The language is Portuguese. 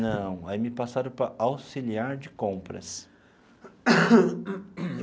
Não, aí me passaram para auxiliar de compras.